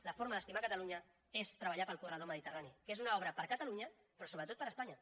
la forma d’estimar catalunya és treballar pel corredor mediterrani que és una obra per a catalunya però sobretot per a espanya